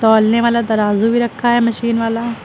तौलने वाला तराजू भी रखा है मशीन वाला।